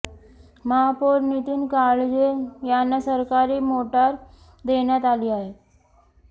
महापौर नितीन काळजे यांना सरकारी मोटार देण्यात आली आहे